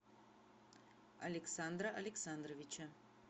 александра александровича